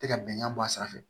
Tɛ ka bɛnkan bɔ a sira fɛ